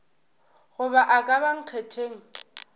goba a ka ba nkgetheng